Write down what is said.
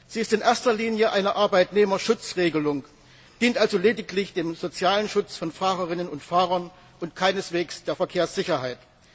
Sie ist in erster Linie eine Arbeitnehmerschutzregelung, dient also lediglich dem sozialen Schutz von Fahrerinnen und Fahrern und keineswegs der Verkehrssicherheit.